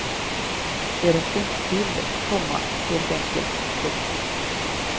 De räckte inte till, komma helt enkelt. punkt